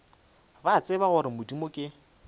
ba tseba gore modimo ke